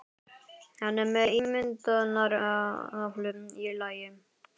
Hann er með ímyndunaraflið í lagi.